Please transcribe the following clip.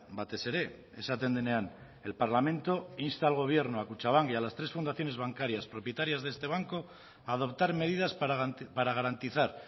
batez ere esaten denean el parlamento insta al gobierno a kutxabank y a las tres fundaciones bancarias propietarias de este banco a adoptar medidas para garantizar